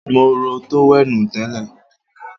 Mo ró tówẹ́ènù tẹ́lẹ̀